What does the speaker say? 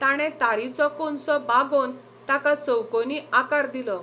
ताणें तारीचो कोनसो बागोवन ताका चौकोनी आकार दिलो.